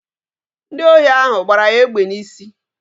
Ndi ohi ahụ gbara ya egbe n'isi